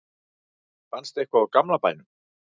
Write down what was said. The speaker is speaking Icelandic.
fannst eitthvað úr gamla bænum